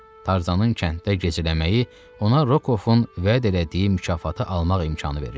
Tarzanın kənddə gecələməyi ona Rokovun vəd elədiyi mükafatı almaq imkanı verirdi.